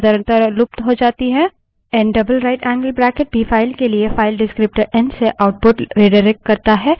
N double rightangled bracket भी file के लिए file descriptor एन से output redirects करता है